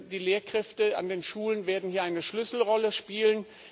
Die Lehrkräfte an den Schulen werden hier eine Schlüsselrolle spielen.